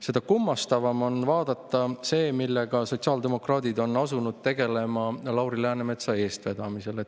Seda kummastavam on vaadata seda, millega sotsiaaldemokraadid on asunud tegelema Lauri Läänemetsa eestvedamisel.